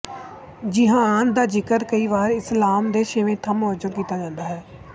ਜਿਹਾਦ ਦਾ ਜ਼ਿਕਰ ਕਈ ਵਾਰ ਇਸਲਾਮ ਦੇ ਛੇਵੇਂ ਥੰਮ ਵਜੋ ਵੀ ਕੀਤਾ ਜਾਂਦਾ ਹੈ